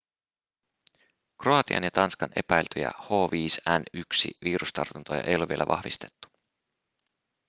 kroatian ja tanskan epäiltyjä h5n1-virustartuntoja ei ole vielä vahvistettu